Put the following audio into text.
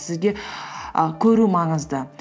сізге і көру маңызды